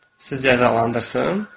Sizi cəzalandırsın?